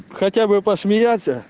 хотя бы посмеяться